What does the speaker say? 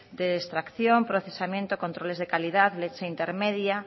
de extracción procesamiento controles de calidad leche intermedia